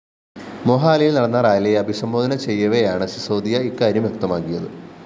മൊഹാലിയില്‍ നടന്ന റാലിയെ അഭിസംബോധന ചെയ്യവെയാണ് സിസോദിയ ഇക്കാര്യം വ്യക്തമാക്കിയത്